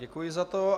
Děkuji za to.